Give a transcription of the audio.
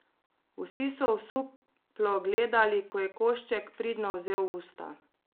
Vsi so osuplo gledali, ko je košček pridno vzel v usta.